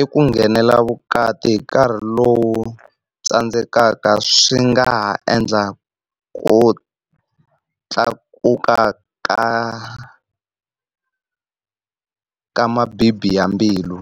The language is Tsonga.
i ku nghenela vukati hi nkarhi lowu tsandzekaka swi nga ha endla ku tlakuka ka ka mabibi ya mbilu.